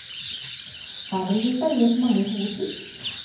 Her blir det servert mange gode tips.